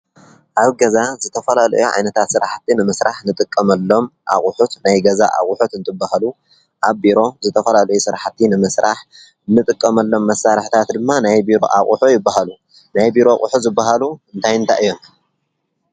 ኣብ ገዛ ዘተፈላለዩ ዓይነታት ስራሕቲ ንምስራሕ ንጥቀመሎም ኣቝሑት ናይ ገዛ ኣቝሑት እንትበሃሉ፡፡ ኣብ ቢሮ ዝተፈላለዩ ስራሕቲ ንምስራሕ ንጥቀመሎም መሳርሕታት ድማ ናይ ቢሮ ኣቝሑ ይበሃሉ፡፡ ናይ ቢሮ ኣቝሑ ዝበሃሉ እንታ እንታይ እዮም?